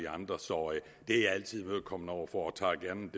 andre så det er jeg altid imødekommende over for og tager gerne